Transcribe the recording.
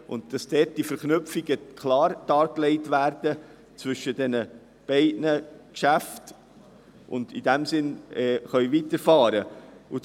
Es geht darum, dass die Verknüpfungen klar zwischen den beiden Geschäften dargelegt werden und wir in diesem Sinn weiterfahren können.